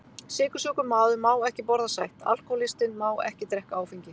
Sykursjúkur maður má ekki borða sætt, alkohólistinn má ekki drekka áfengi.